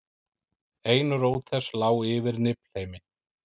ein rót þess lá yfir niflheimi